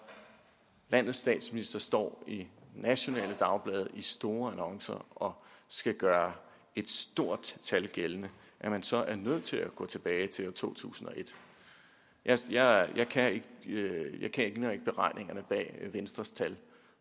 landets statsminister står i nationale dagblade i store annoncer og skal gøre et stort tal gældende så er nødt til at gå tilbage til år to tusind og et jeg kender ikke beregningerne bag venstres tal